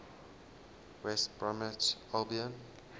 west bromwich albion